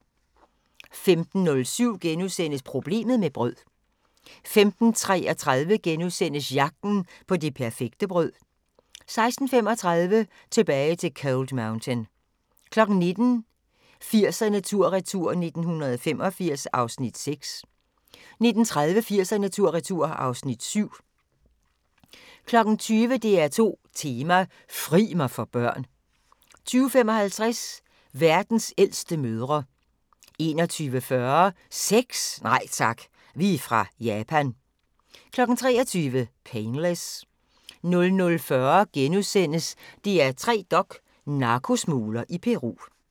15:07: Problemet med brød * 15:33: Jagten på det perfekte brød * 16:35: Tilbage til Cold Mountain 19:00: 80'erne tur-retur: 1985 (Afs. 6) 19:30: 80'erne tur-retur (Afs. 7) 20:00: DR2 Tema: Fri mig for børn 20:55: Verdens ældste mødre 21:40: Sex? Nej tak, vi er fra Japan 23:00: Painless 00:40: DR3 Dok: Narkosmugler i Peru *